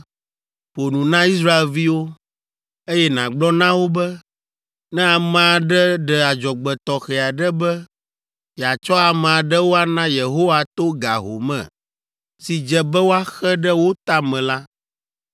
“Ƒo nu na Israelviwo, eye nàgblɔ na wo be, ‘Ne ame aɖe ɖe adzɔgbe tɔxɛ aɖe be yeatsɔ ame aɖewo ana Yehowa to ga home si dze be woaxe ɖe wo ta me la,